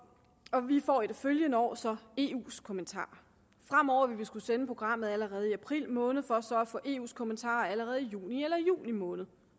og vi får i det følgende år så eus kommentarer fremover vil vi skulle sende programmet allerede i april måned for så at få eus kommentarer allerede i juni eller juli måned